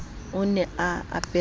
o ne a apere mose